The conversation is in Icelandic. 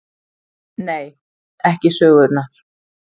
Nei: ekki sögunnar.